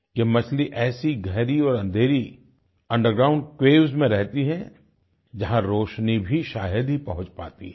यह मछली ऐसी गहरी और अंधेरी अंडरग्राउंड केव्स में रहती है जहां रोशनी भी शायद ही पहुँच पाती है